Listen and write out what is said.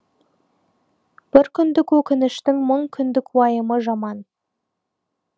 бір күндік өкініштің мың күндік уайымы жаман